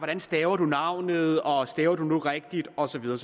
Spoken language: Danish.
man staver navnet og staver man nu rigtigt og så videre